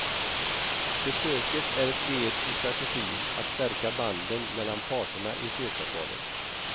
Besöket är ett led i strategin att stärka banden mellan parterna i fredsavtalet.